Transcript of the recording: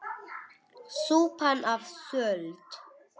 Súpan of sölt!